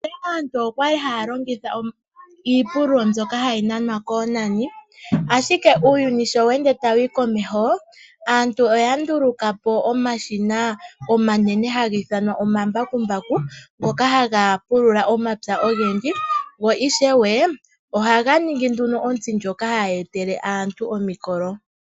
Monale aantu okwali haya longitha iipululo mbyoka hayi nanwa koonani, ashike uuyuni sho we ende tawu humu komeho aantu oya ndulu kapo omashina omanene haga ithanwa omambakumbaku ngoka haga pulula omapya ogendji go ishewe ohaga ningi ontsi ndjoka hayi etele aantu omikolo.